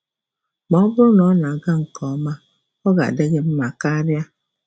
Ma ọ bụrụ na ọ na-aga nke ọma, ọ ga-adị gị mma karịa!